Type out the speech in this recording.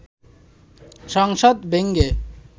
সংসদ ভেঙে